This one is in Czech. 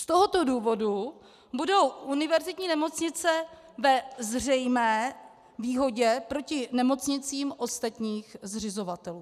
Z tohoto důvodu budou univerzitní nemocnice ve zřejmé výhodě proti nemocnicím ostatních zřizovatelů.